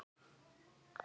Það fer mjög vel saman.